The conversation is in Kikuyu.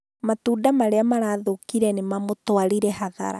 Matunda marĩa marathũkire nĩ mamũtwarire hathara